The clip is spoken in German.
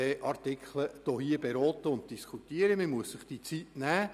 Diese Zeit muss man sich nehmen.